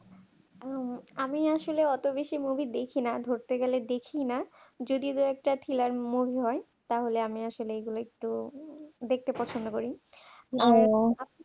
আমি আসলে অত বেশি movie দেখিনা ধরতে গেলে দেখি না যদি দুই একটা thriller movie হয় তাহলে আমি আসলে এগুলো একটু দেখতে পছন্দ করি